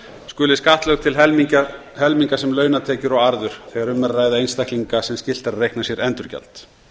skuli skattlögð til helminga sem launatekjur og arður þegar um er að ræða einstaklinga sem skylt er að reikna sér endurgjald